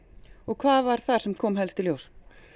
hvað var það sem kom helst í ljós